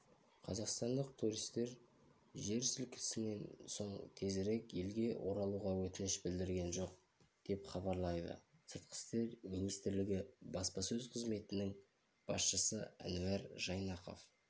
қазақстандық туристер жер сілкінісінен соң тезірек елге оралуға өтініш білдірген жоқ деп хабарлайды сыртқы істер министрлігі баспасөз қызметінің басшысы әнуар жайнақов